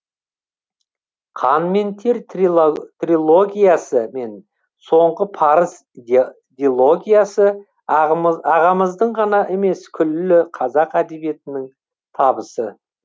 қан мен тер трилогиясы мен соңғы парыз дилогиясы ағамыздың ғана емес күллі қазақ әдебиетінің табысы